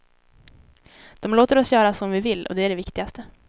De låter oss göra som vi vill, och det är det viktigaste.